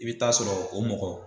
I bɛ taa sɔrɔ, o mɔgɔ